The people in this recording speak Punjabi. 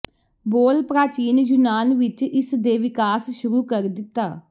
ਬੋਲ ਪ੍ਰਾਚੀਨ ਯੂਨਾਨ ਵਿਚ ਇਸ ਦੇ ਵਿਕਾਸ ਸ਼ੁਰੂ ਕਰ ਦਿੱਤਾ